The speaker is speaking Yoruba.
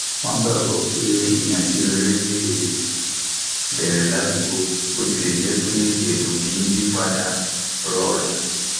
wọn gbàgbọ pé ìhànsí rere le bẹrẹ ládúgbò bó tilẹ jẹ pé ètò kì í yí padà rọrùn